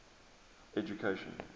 education